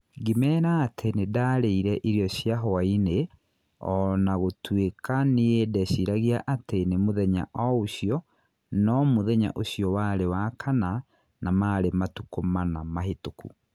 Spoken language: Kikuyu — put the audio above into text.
Ngĩmeera atĩ nĩ ndĩraarĩire irio cia hwaĩ-inĩ, o na gũtuĩka nĩĩ ndeciragia atĩ nĩ mũthenya o ũcio no mũthenya ũcio warĩ wa kana na marĩ matukũ mana mahĩtũku.